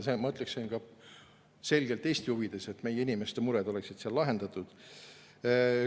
See on, ma ütleksin, ka selgelt Eesti huvides, et meie inimeste mured saaksid seal lahendatud.